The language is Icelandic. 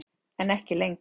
En ekki lengur.